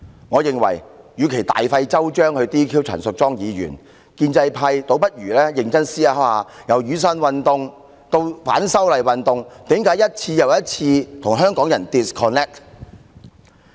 我認為，與其大費周章 "DQ" 陳淑莊議員，建制派何不認真思考一下，從雨傘運動至反修例運動，為何政府一再與香港人 disconnect？